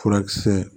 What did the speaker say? Furakisɛ